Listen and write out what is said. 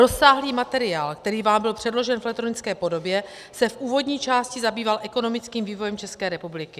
Rozsáhlý materiál, který vám byl předložen v elektronické podobě, se v úvodní části zabýval ekonomickým vývojem České republiky.